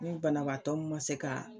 Ni banabaatɔ min ma se ka